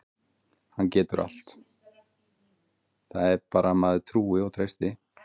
Hann getur allt, það er bara að maður trúi og treysti.